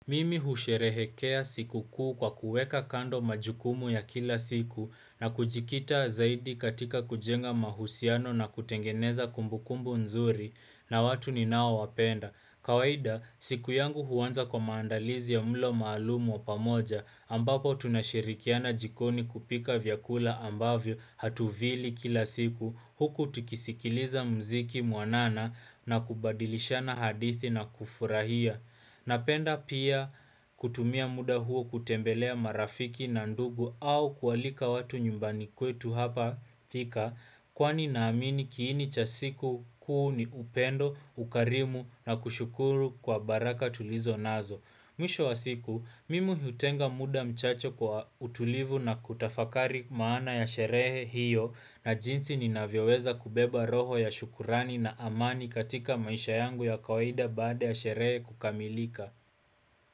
Mimi husherehekea sikukuu kwa kuweka kando majukumu ya kila siku na kujikita zaidi katika kujenga mahusiano na kutengeneza kumbukumbu nzuri na watu ninaowapenda. Kawaida, siku yangu huanza kwa maandalizi ya mlo maalumu wa pamoja ambapo tunashirikiana jikoni kupika vyakula ambavyo hatuvili kila siku huku tukisikiliza mziki mwanana na kubadilishana hadithi na kufurahia. Napenda pia kutumia muda huo kutembelea marafiki na ndugu au kualika watu nyumbani kwetu hapa pika kwani naamini kiini cha siku kuu ni upendo, ukarimu na kushukuru kwa baraka tulizo nazo. Mwisho wa siku, mimi hiutenga muda mchache kwa utulivu na kutafakari maana ya sherehe hiyo na jinsi ni ninavyoweza kubeba roho ya shukrani na amani katika maisha yangu ya kawaida baada ya sherehe kukamilika.